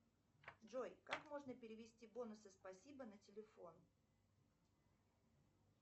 джой как можно перевести бонусы спасибо на телефон